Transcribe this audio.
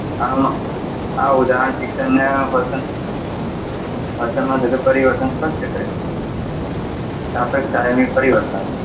આ ઉદાહરણ શિક્ષણને વર્તન વર્તનમાં થતું પરિવર્તન સ્પષ્ટ કરે છે. પરિવર્તન.